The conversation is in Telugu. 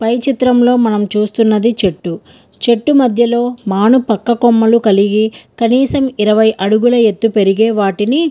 పై చిత్రం లో మనము చూస్తున్నది ఇక్కడ చెట్టు మధ్య లో మనము కలిగి ఉన్నాయి కనీసము ఇరవై అడుగులు ఎదిగే వాటిని--